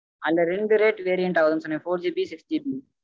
அதுல ரெண்டு rate variant ஆகுது னு சொன்னேன் fourGBsixGB